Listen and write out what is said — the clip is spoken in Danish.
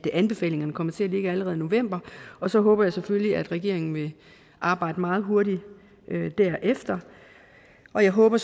anbefalingerne kommer til at ligge allerede i november og så håber jeg selvfølgelig at regeringen vil arbejde meget hurtigt derefter og jeg håber